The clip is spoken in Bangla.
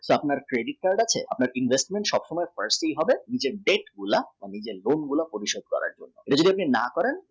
আপনার credit card আছে আপনার investment সব সময় personal হবে নিজের debt plus home loan প্রতিশোধ করার জন্যে।